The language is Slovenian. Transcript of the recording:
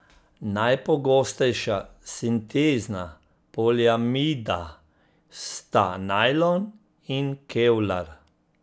Najpogostejša sintezna poliamida sta najlon in kevlar.